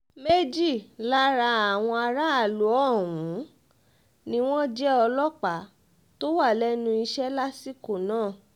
méjì lára àwọn aráàlú ọ̀hún ni wọ́n jẹ́ ọlọ́pàá tó wà lẹ́nu iṣẹ́ lásìkò náà